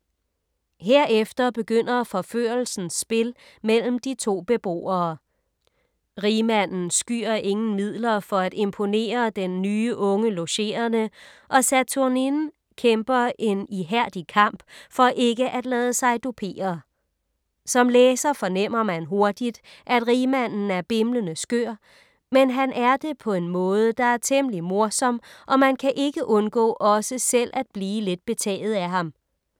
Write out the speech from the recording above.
Herefter begynder forførelsens spil mellem de to beboere. Rigmanden skyer ingen midler for imponere den nye unge logerende og Saturnine kæmper en ihærdig kamp for ikke at lade sig dupere. Som læser fornemmer man hurtigt, at rigmanden er bimlende skør, men han er det på en måde, der er temmelig morsom, og man kan ikke undgå også selv at blive lidt betaget af ham.